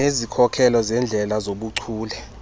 nezikhokelo zeendlela zobuchule